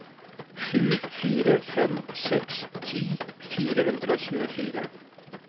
sju fire fem seks ti fire hundre og tjuefire